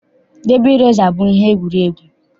Dabi resa bụ ihe egwuregwu.